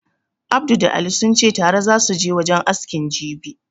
Abdu da Ali sunce tare zasu je wajen askin jibi